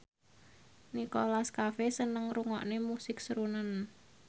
Nicholas Cafe seneng ngrungokne musik srunen